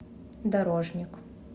дорожник